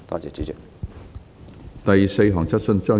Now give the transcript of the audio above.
第四項質詢。